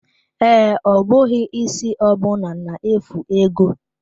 Ee, ọ bụghị isi ọbụna na-efu ego.